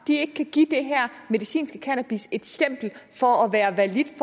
ikke kan give det her medicinske cannabis et stempel for at være validt